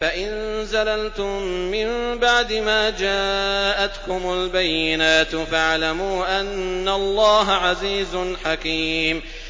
فَإِن زَلَلْتُم مِّن بَعْدِ مَا جَاءَتْكُمُ الْبَيِّنَاتُ فَاعْلَمُوا أَنَّ اللَّهَ عَزِيزٌ حَكِيمٌ